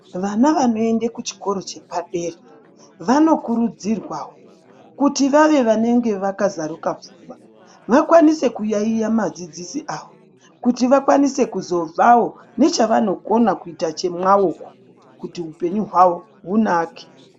Vana vanoende kuchikoro chepadera vanokurudzirwawo kuti vave vanenge vakazaruka pfungwa vakwanise kuyaiya madzidzisi avo kuti vakwanise kuzobvawo nechavanokona kuita chemwaoko kuti hupenyu hwavo hunake.